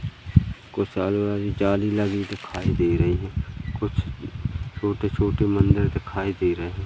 कुशल वाली जाली लगी दिखाई दे रही है कुछ छोटे छोटे मंदिर दिखाई दे रहे हैं।